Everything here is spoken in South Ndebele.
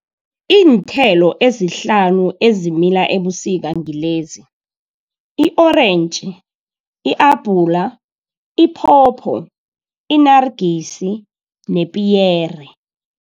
Iinthelo ezihlanu ezimila ebusika ngilezi i-orentji, i-abhula, iphopho, inarigisi nepiyere.